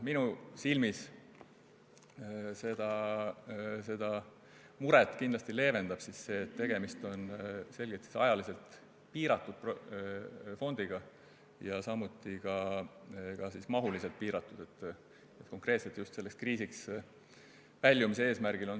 Minu silmis leevendab seda muret kindlasti asjaolu, et tegemist on ajaliselt ja mahuliselt piiratud fondiga – see fond on tehtud konkreetselt sellest kriisist väljumise eesmärgil.